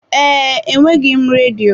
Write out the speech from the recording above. Ee, enweghị m redio.